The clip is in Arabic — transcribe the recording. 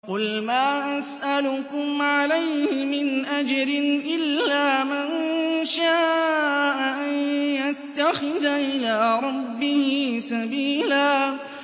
قُلْ مَا أَسْأَلُكُمْ عَلَيْهِ مِنْ أَجْرٍ إِلَّا مَن شَاءَ أَن يَتَّخِذَ إِلَىٰ رَبِّهِ سَبِيلًا